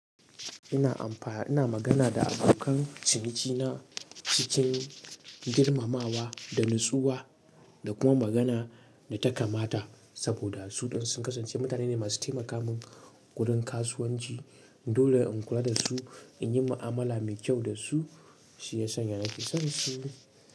Ina amfana, ina magana da abokan ciniki na cikin girmamawa da natsuwa da kuma magana da ta kamata saboda su ɗin sun kasance mutane ne masu taimaka min gurin kasuwanci. Dole in kula da su, in yi ma'amala mai kyau da su shiyasan ya nake son su.